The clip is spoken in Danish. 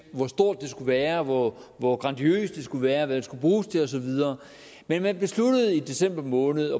hvor stort det skulle være hvor hvor grandiost det skulle være og hvad det skulle bruges til og så videre men man besluttede i december måned